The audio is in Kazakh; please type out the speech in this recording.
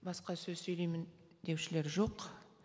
басқа сөз сөйлеймін деушілер жоқ